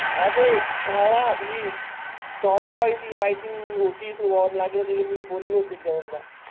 हा भाव तो टॉम बॉय तो माहिती होती तेच शी मी बोलो एक द दोन द